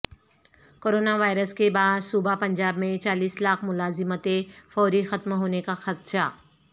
corona virus کے باعث صوبہ پنجاب میں چالیس لاکھ ملازمتیں فوری ختم ہونے کا خدشہ